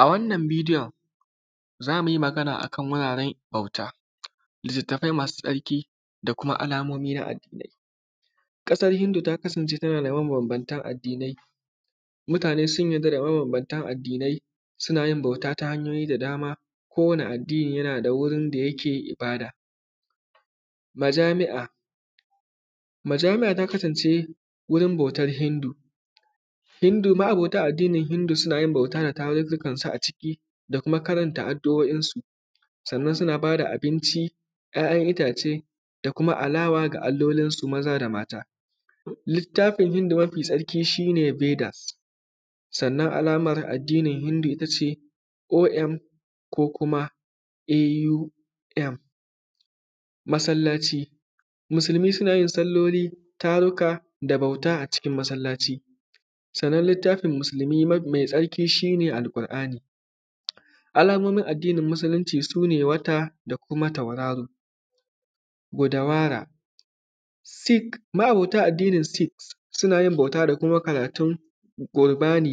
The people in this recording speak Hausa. A wanna bidiyon za mu yi magana akan wuraran bauta, litattafai masu tsarki da kuma alamomi na hadisai, ƙasan hindu ta kasance tana da mabambantan addinai mutane sun yarda da mabambantan addinai suna yin bauta ta hanyoyi da dama, kowane addini yana da wurin da yake ibada, majami’a-majami’a ta kasance wurin bautan hindu-hindu, ma’anbota abokan hindu suna yin bauta da tattazini kansa a ciki da kuma karanta addu’oinsu sannan suna bada abinci, ‘ya’yanitace da kuma alawa da allolinsu maza da mata. Littafin hindu mafi tsarki shi ne bedasa, sannan alaman addaini hindu ita ce om ko kuma a masallaci musulmi suna yin salloli, taruka da bauta a cikin masallaci, sannan litattafin musulmi mafi tsarki shi ne alkur’ani, alamomin addinin musulunci shi ne wata ko kuma tauraro guda. Wara sik ma’abota addinin sik sunayin bauta da kuma karatun baudani